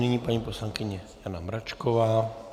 Nyní paní poslankyně Jana Mračková.